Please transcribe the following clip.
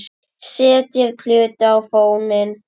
Setjið plötu á fóninn.